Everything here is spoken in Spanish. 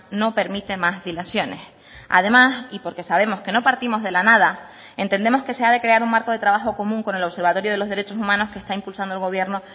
no permite más dilaciones además y porque sabemos que no partimos de la nada entendemos que se ha de crear un marco de trabajo común con el observatorio de los derechos humanos que está impulsando el gobierno